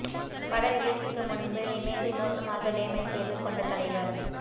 பட ரிலீஸுக்கு முன்பு இமேஜை மோசமாக டேமேஜ் செய்து கொண்ட தலைவர்